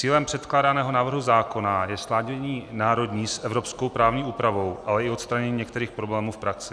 Cílem předkládaného návrhu zákona je sladění národní s evropskou právní úpravou, ale i odstranění některých problémů v praxi.